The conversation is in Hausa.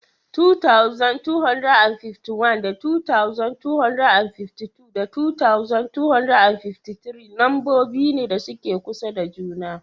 2251 da 2252 da 2253 lambobi ne da suke kusa da juna.